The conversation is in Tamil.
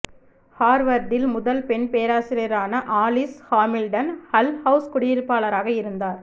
ஹார்வர்டில் முதல் பெண் பேராசிரியரான ஆலிஸ் ஹாமில்டன் ஹல் ஹவுஸ் குடியிருப்பாளராக இருந்தார்